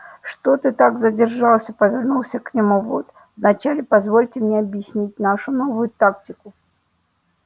что ты так задержался повернулся к нему вуд вначале позвольте мне объяснить нашу новую тактику